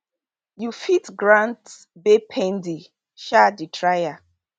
you fit grant bail pending um di trial